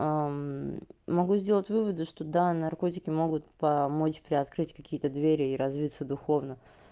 могу сделать выводы что да наркотики могут помочь приоткрыть какие-то двери и развиться духовно